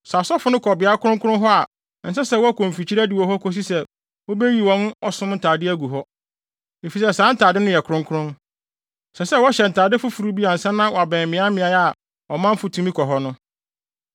Sɛ asɔfo no kɔ beae kronkron hɔ a ɛnsɛ sɛ wɔkɔ mfikyiri adiwo hɔ kosi sɛ wobeyiyi wɔn ɔsom ntade agu hɔ, efisɛ saa ntade no yɛ kronkron. Ɛsɛ sɛ wɔhyɛ ntade foforo bi ansa na wɔabɛn mmeaemmeae a ɔmanfo tumi kɔ hɔ no.”